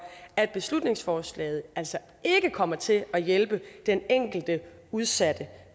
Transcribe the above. at beslutningsforslaget altså ikke kommer til at hjælpe den enkelte udsatte